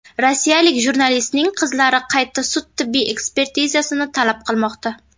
Rossiyalik jurnalistning qizlari qayta sud-tibbiy ekspertizasini talab qilmoqda.